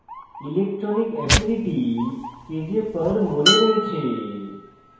electronic affinities kj/mol এ রয়েছে